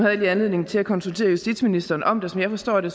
jeg lige anledning til at konsultere justitsministeren om det som jeg forstår det